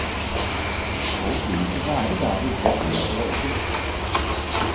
Folk vil ikke være der det ikke er tillatt å røyke.